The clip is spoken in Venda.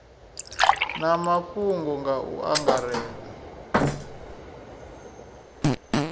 na mafhungo nga u angaredza